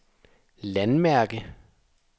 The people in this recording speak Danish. landmærke